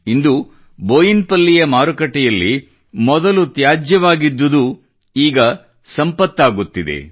ಇಂದು ಬೋಯನಪಲ್ಲಿಯ ಮಾರುಕಟ್ಟೆಯಲ್ಲಿ ಮೊದಲು ತ್ಯಾಜ್ಯವಾಗಿದ್ದುದು ಈಗ ಅದರಿಂದಲೇ ಸಂಪತ್ತು ಸೃಷ್ಟಿಯಾಗುತ್ತಿದೆ